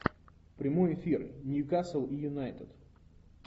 прямой эфир ньюкасл и юнайтед